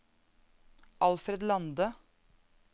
Alfred Lande